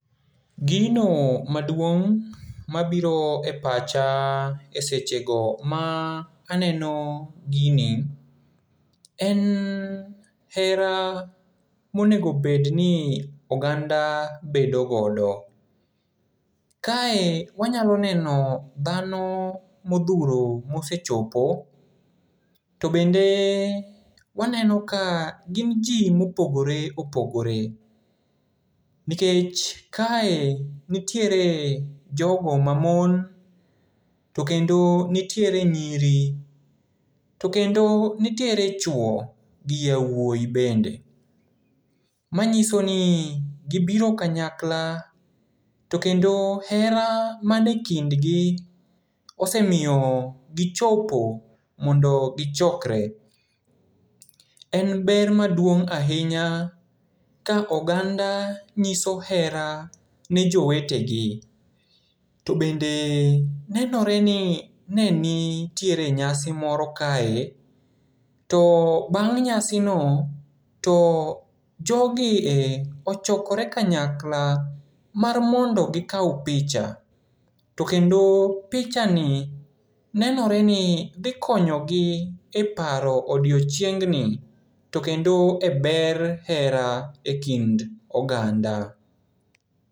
Gino maduong' mabiro e pacha e sechego ma aneno gini, en hera monego bedni oganda bedo godo. Kae wanyalo neno dhano modhuro mosechopo. To bende waneno ka gin ji mopogore opogore, nikech kae nitiere jogo mamon, to kendo nitiere nyiri, to kendo nitiere chuo gi yauoyi bende. Manyisoni gibiro kanyakla, to kendo hera manie kindgi osemiyo gichopo mondo gichokre. En ber maduong' ahinya ka oganda nyiso hera ne jowetegi. To bende nenoreni ne nitiere nyasi moro kae, to bang' nyasino to jogie ochokore kanyakla mar mondo gikao picha. To kendo pichani nenoreni dhi konyogi e paro odiochiengni to kendo e ber hera e kind oganda.